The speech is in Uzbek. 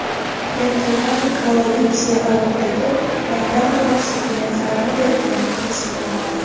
Pentagon koalitsiya Iroqdagi motam marosimiga zarba berganini tasdiqlamadi.